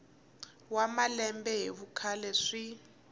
wa malembe hi vukhale swi